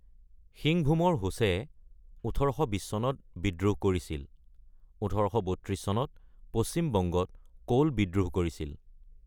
সিংভূমৰ হোচে ১৮২০ চনত বিদ্ৰোহ কৰিছিল, ১৮৩২ চনত পশ্চিম বংগত কোল বিদ্ৰোহ কৰিছিল।